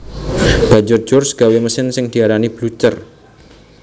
Banjur George gawé mesin sing diarani Blucher